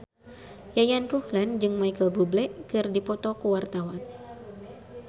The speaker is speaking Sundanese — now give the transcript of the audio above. Yayan Ruhlan jeung Micheal Bubble keur dipoto ku wartawan